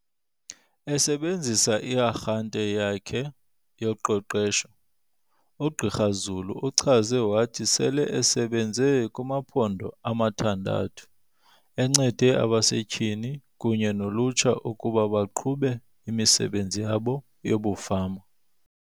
Esebenzisa i-arhente yakhe yoqeqesho, uGqr Zulu uchaze wathi sele esebenze kumaphondo amathandathu, enceda abasetyhini kunye nolutsha ukuba baqhube imisebenzi yabo yobufama.